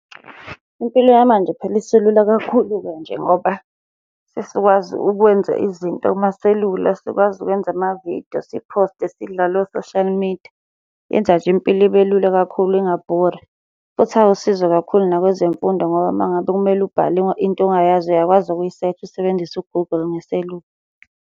Impilo yamanje phela isilula kakhulu-ke nje ngoba sesikwazi ukwenza izinto kumaselula. Sikwazi ukwenza amavidiyo siposte sidlale o-social media. Yenza nje impilo ibe lula kakhulu ingabhori, futhi awusizo kakhulu nakwezemfundo ngoba uma ngabe kumele ubhale into ongayazi uyakwazi ukuyisesha usebenzise u-Google ngeselula.